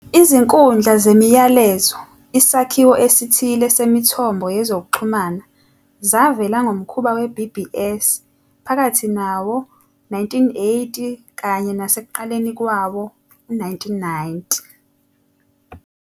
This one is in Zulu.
Izinkundla zemiyalezo, isakhiwo esithile semithombo yezokuxhumana, zavela ngomkhuba weBBS phakathi nawo-1980 kanye nasekuqaleni kwawo-1990.